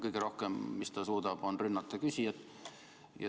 Parim, mis te suudate, on rünnata küsijat.